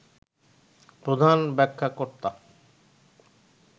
প্রধান ব্যাখ্যাকর্তা